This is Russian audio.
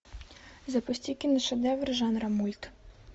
запусти киношедевр жанра мульт